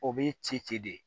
O bɛ ci ci de